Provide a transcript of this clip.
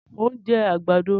Mo ń jẹ àgbàdo